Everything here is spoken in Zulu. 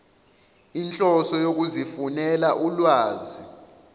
inhloso yokuzifunela ulwazi